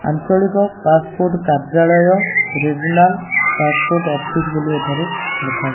ଆଞ୍ଚଳିକ ପାସପୋର୍ଟ କାର୍ଯ୍ୟାଳୟ regional passport office ବୋଲି ଏଠାରେ ଲେଖା --